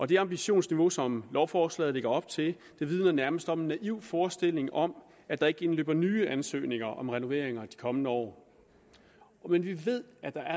det ambitionsniveau som lovforslaget lægger op til vidner nærmest om en naiv forestilling om at der ikke indløber nye ansøgninger om renoveringer i de kommende år vi ved at der